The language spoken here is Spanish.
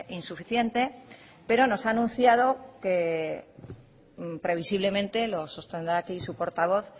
insuficiente pero nos ha anunciado que previsiblemente lo sostendrá aquí su portavoz